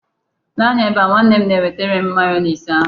Lee anya ebe a! Nwa m na-ewetere m mayoneesi ahụ.